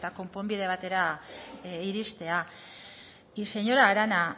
konponbide batera iristea y señora arana